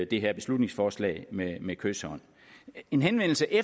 det her beslutningsforslag med med kyshånd en henvendelse i